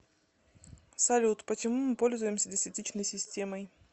салют почему мы пользуемся десятичной системой